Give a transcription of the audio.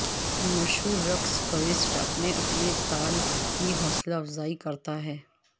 مشہور رقص کویسٹ اپنے اپنے تال کی حوصلہ افزائی کرتا ہے